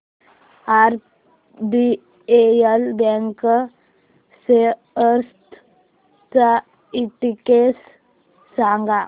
RBL bank shares चा index सांगा